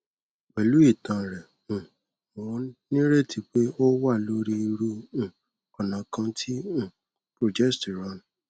pẹlú ìtàn rẹ um mo ní ìrètí pé o wà lórí irú um ọnà kan ti um progesterone